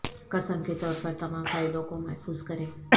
قسم کے طور پر تمام فائلوں کو محفوظ کریں